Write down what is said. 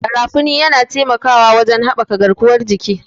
Garafuni yana taimakawa wajen haɓaka garkuwar jiki.